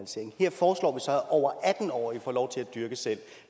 foreslår vi så er over atten år får lov til at dyrke selv